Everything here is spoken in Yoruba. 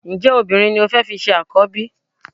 Ǹjẹ́ obìnrin ni o fẹ́ fi ṣe àkọ́bí?